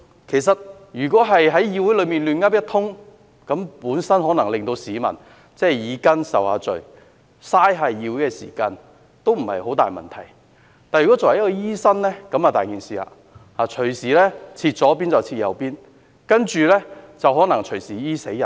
其實，如果在議會內"亂噏一通"，可能只是令市民耳根受罪，浪費議會時間，問題不大；但如果作為一位醫生，問題便嚴重，隨時"開錯刀"，然後隨時"醫死人"。